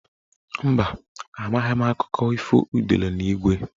Mba, amaghị m akụkọ ifo udele na ígwé.